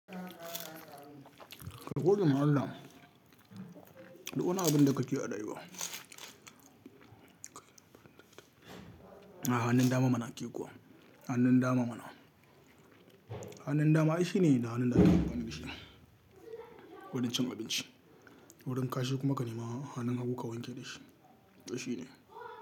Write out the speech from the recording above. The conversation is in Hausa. Ka gode ma Allah, duk wani abinda kake a rayuwa. Hanun dama mana ke kuwa, hanun dama mana. Hanun dama ai shine da hanun ake amfani da shi wurin cin abinci, wurin kashi kuma ka nema hanun hagu ka wanke da shi, to shi ne.